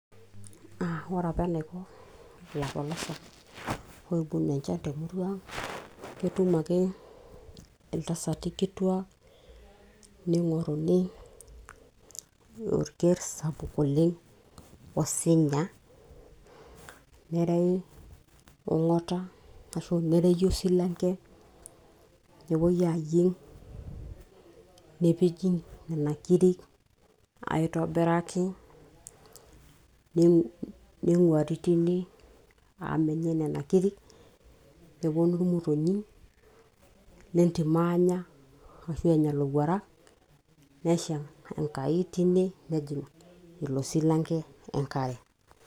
Ore apa eneiko illapolosak, oibung enchan te murua ang. Ketum ake iltasati kituak neingoruni orker sapuk oleng osinya. Nerewi ongata ashu nerewi osilanke, nepoi ayieng nepiki nena kiri aitobiraki neing'uari teine amu menyae nena kiri, nepuonu irmotonyi lentim aanya ashu enya illoruarak nesha enkai teine nejing ilosilanke enkare.